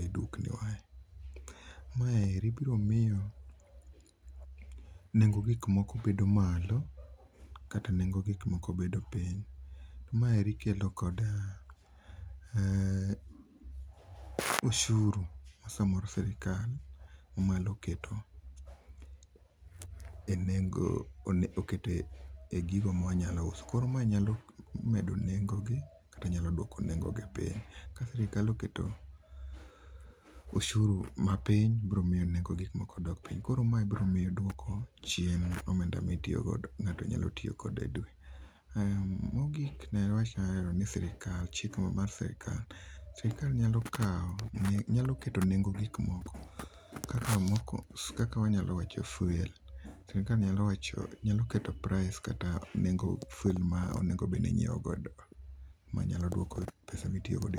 e dukni wa. Mae biro miyo nengo gik moko bedo malo kata nengo gik moko bedo piny. Maeri ikelo koda oshuru ma samoro sirkal mamalo keto e nengo, oketo e gigo ma wanyalo uso. Koro mae nyalo medo nengo gi kata duok nengo gi piny. Ka sirkal oketo oshuru ma piny biro miyo nengo gikmoko dok piny. Koro ma biro miyo duoko chien omenda ma itiyo godo, ma ngato nyalo tiyo go e dwe. Mogik, ne wach ni sirkal ,chike ma sirkal, sirkal nyalo keto nengo gik moko kaka wanyalo wacho fuel, sirkal nyalo wacho, nyalo keto price kata nengo fuel monego obedni inyiew godo manyalo duoko pesa mitiyo godo